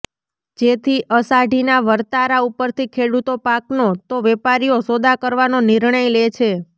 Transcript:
જેથી અષાઢીના વર્તારા ઉપરથી ખેડૂતો પાકનો તો વેપારીઓ સોદા કરવાનો નિર્ણય લે છે